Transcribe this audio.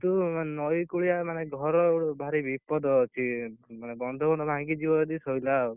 କିନ୍ତୁ ନଈ କୂଳିଆ ଘର ମାନେ ଭାରି, ବିପଦ ଅଛି, ମାନେ ବନ୍ଧ ଫନ୍ଧ ଯଦି ଭାଙ୍ଗିଯିବ ସଇଲା ଆଉ,